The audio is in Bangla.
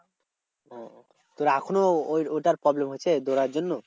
ওহ তোর এখনও ঐটার ঐটার problem হচ্ছে দৌড়ানোর জন্য।